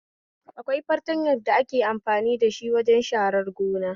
Akwai fartanyan da ake amfani dashi wajen sharan gona